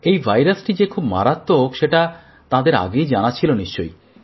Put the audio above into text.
এই ভাইরাসটি যে খুব মারাত্মক সেটা তাঁদের আগেই জানা ছিল নিশ্চয়ই